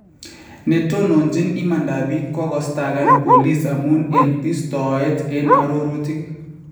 Netonoonchin imaandaab biik kokostaakan boliis amuun en bistoeet en aroruutiik